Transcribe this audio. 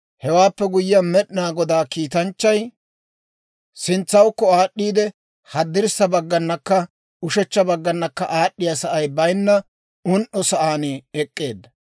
Hewaappe guyyiyaan, Med'inaa Godaa kiitanchchay sintsawukko aad'd'iide, haddirssa bagganakka ushechcha baggana aad'd'iyaa sa'ay bayinna un"o sa'aan ek'k'eedda.